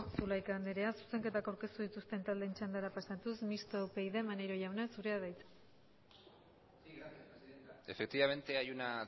zulaika andrea zuzenketak aurkeztu dituzten taldeen txandara pasatuz mistoa upyd maneiro jauna zurea da hitza sí gracias presidenta efectivamente hay una